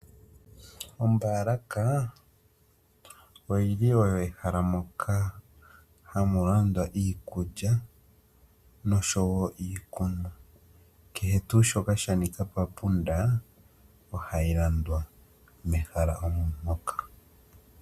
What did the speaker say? Ombaalaka oyili oyo ehala moka hamu landwa iikulya noshowoo iikunwa. Kehe tuu shoka shapumbwa papunda ohayi landwa mehala moka.